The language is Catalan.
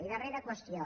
i darrera qüestió